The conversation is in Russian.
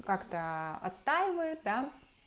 как-то отстаивает да